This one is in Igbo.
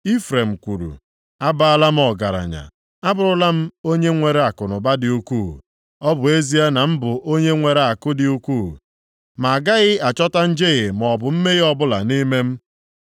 Ifrem kwuru, “Abaala m ọgaranya! Abụrụla m onye nwere akụnụba dị ukwuu! Ọ bụ ezie na m bụ onye nwere akụ dị ukwuu, ma agaghị achọta njehie maọbụ mmehie ọbụla nʼime m.”